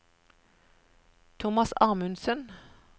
Thomas Amundsen